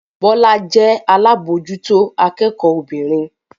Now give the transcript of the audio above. Bọ́lá jẹ́ alábòójútó akẹ́kọ̀ọ́ obìnrin